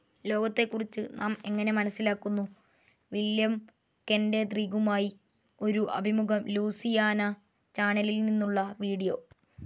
ലോകത്തെക്കുറിച്ച് നാം എങ്ങനെ മനസ്സിലാക്കുന്നു. വില്യം കെന്റദ്രിഗുമായി ഒരു അഭിമുഖം ലൂസിയാന ചാനലിൽ നിന്നുള്ള വീഡിയോ